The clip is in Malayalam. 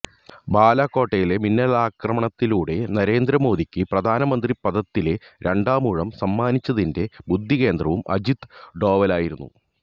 ബാലാകോട്ടിലെ മിന്നലാക്രമണത്തിലൂടെ നരേന്ദ്രമോദിക്ക് പ്രധാനമന്ത്രിപദത്തിലെ രണ്ടാമൂഴം സമ്മാനിച്ചതിന്റെ ബുദ്ധികേന്ദ്രവും അജിത് ഡോവലായിരുന്നു